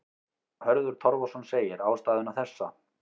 Hörður Torfason segir ástæðuna þessa.